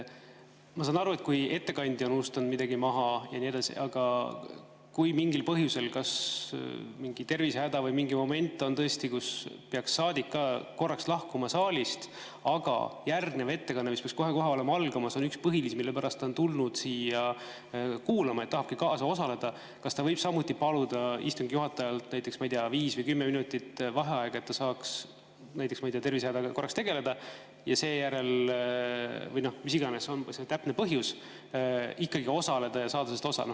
Ma saan aru, et kui ettekandja on unustanud midagi maha ja nii edasi, aga kui mingil põhjusel, kas mingi tervisehäda tõttu või mingi muu moment on tõesti, et saadik peaks korraks lahkuma saalist, aga järgnev ettekanne, mis peaks kohe-kohe algama, on üks põhilisi, mille pärast ta on tulnud siia kuulama ja tahabki istungil osaleda, siis kas ta võib samuti paluda istungi juhatajalt, näiteks, ma ei tea, viis või kümme minutit vaheaega, et ta saaks, ma ei tea, korraks tegeleda tervisehädaga või sellega, mis iganes on see täpne põhjus, ja seejärel saaksikkagi osaleda?